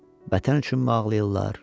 Vətən üçünmü ağlayırlar?